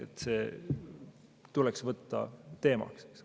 et see tuleks võtta teemaks.